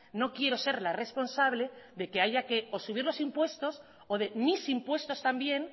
no quiero ser la responsable de que haya que o de subir los impuestos o de mis impuestos también